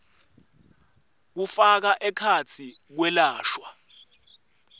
kufaka ekhatsi kwelashwa